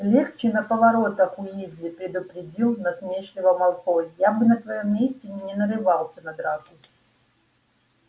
легче на поворотах уизли предупредил насмешливо малфой я бы на твоём месте не нарывался на драку